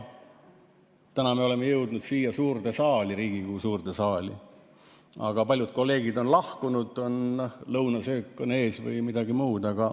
Täna me oleme jõudnud siia suurde saali, Riigikogu suurde saali, aga paljud kolleegid on lahkunud, on lõunasöök ees või midagi muud.